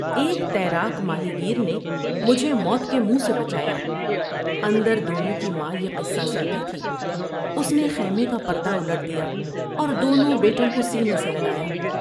ایک تیراک ماہی گیر نے مجھے موت کے منہ سے بچایا '' اندر دونوں کی ماں یہ قصہ سنتی تھی ۔اس نے خیمے کا پر دوالٹ دیا اور دونوں بیٹوں کو سینے سے لگایا ۔